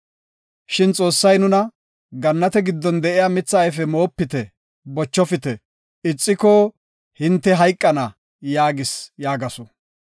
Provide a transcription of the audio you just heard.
Shin Xoossay nuna, ‘Gannate giddon de7iya mitha ayfe moopite, bochofite; ixiko hinte hayqana’ gis” yaagasu.